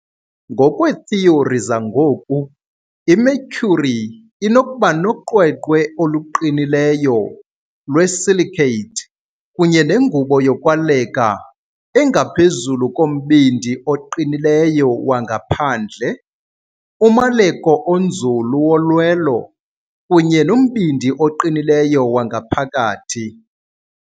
Ngokweethiyori zangoku, iMercury inokuba noqweqwe oluqinileyo lwe-silicate kunye nengubo yokwaleka engaphezulu kombindi oqinileyo wangaphandle, umaleko onzulu wolwelo, kunye nombindi oqinileyo wangaphakathi.